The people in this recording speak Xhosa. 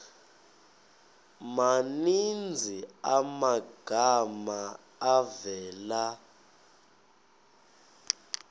maninzi amagama avela